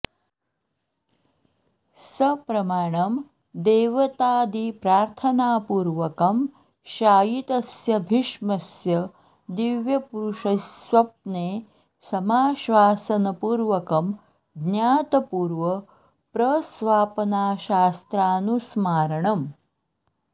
सप्रमाणं देवतादिप्रार्थनापूर्वकं शायितस्य भीष्मस्य दिव्यपुरुषैः स्वप्ने समाश्वासनपूर्वकं ज्ञातपूर्वप्रस्वापनास्त्रानुस्मारणम्